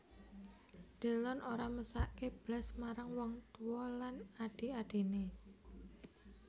Delon ora mesakke blas marang wong tuwa lan adhi adhine